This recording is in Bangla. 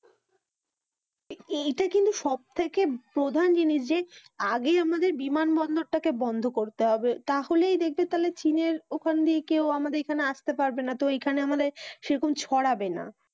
এইটা কিন্তু সব থেকে প্রধান জিনিস যে আগে আমাদের বিমান বন্দরটাকে বন্ধ করতে হবে তাহলেই দেখবে তাহলে চীনের ওখান দিয়ে কেউ আমাদের এখানে আসতে পারবে না তো এইখানে আমাদের সেরকম ছড়াবে না।